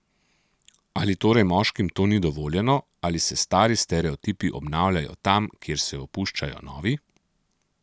Ali torej moškim to ni dovoljeno, ali se stari stereotipi obnavljajo tam, kjer se opuščajo novi?